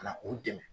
Ka na u dɛmɛ